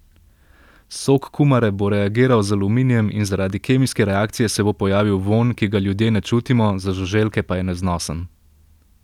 Sok kumare bo reagiral z aluminijem in zaradi kemijske reakcije se bo pojavil vonj, ki ga ljudje ne čutimo, za žuželke pa je neznosen.